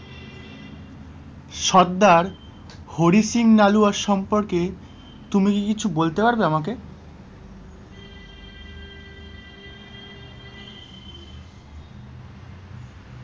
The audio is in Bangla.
সর্দার হরি সিং মালুয়ার সম্পর্কে তুমি কি কিছু বলতে পাড়বে আমাকে?